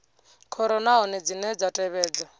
khoro nahone dzine dza tevhedza